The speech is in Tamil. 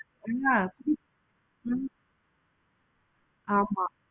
cloth உ எல்லாத்துக்குமே வந்து இப்போ each and